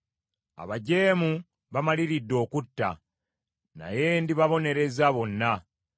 Abajeemu bamaliridde okutta, naye ndibabonereza bonna.